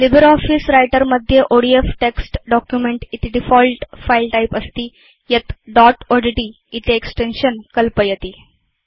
LibreOffice Writer मध्ये ODF text document इति default file type अस्ति यत् दोत् odtइति एक्सटेन्शन् कल्पयति